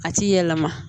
A t'i yɛlɛma